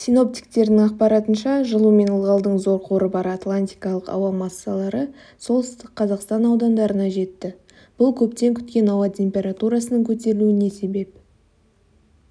синоптиктердің ақпарынша жылу мен ылғалдың зор қоры бар атлантикалық ауа массалары солтүстік қазақстан аудандарына жетті бұл көптен күткен ауатемпературасының көтерілуіне себеп